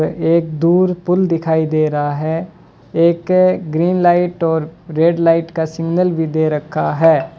एक दूर पुल दिखाई दे रहा है एक ग्रीन लाइट और रेड लाइट का सिग्नल भी दे रखा है।